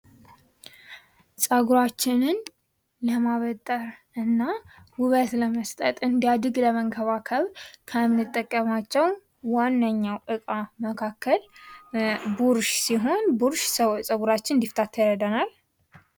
ፀጉራችንን ለማበጠር እና ውበት ለመስጠት እንዲያድግ ለመንከባከብ ከምንጠቀምባቸው ዋነኛው ዕቃ መካከል ቡርሽ ሲሆን ቡርሽ ፀጉራችን እንዲታ ይረዳናል።